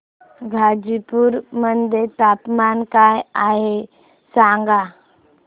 गाझीपुर मध्ये तापमान काय आहे सांगा